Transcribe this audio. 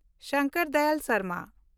Shankar Dayal Sharma